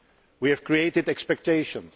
We have created expectations.